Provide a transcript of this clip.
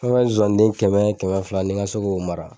Fɔ an ga zonzani den kɛmɛ kɛmɛ fila ne ga se k'o mara